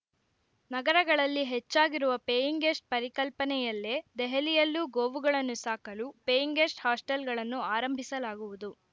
ನಗರಗಳಲ್ಲಿ ಹೆಚ್ಚಾಗಿರುವ paying guest ಪರಿಕಲ್ಪನೆಯಲ್ಲೇ ದೆಹಲಿಯಲ್ಲೂ ಗೋವುಗಳನ್ನು ಸಾಕಲು ಪೇಯಿಂಗ್‌ ಗೆಸ್ಟ್‌ ಹಾಸ್ಟೆಲ್‌ಗಳನ್ನು ಆರಂಭಿಸಲಾಗುವುದು